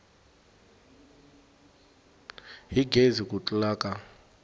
hi gezi ku tlula ka